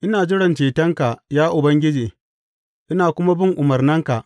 Ina jiran cetonka, ya Ubangiji, ina kuma bin umarnanka.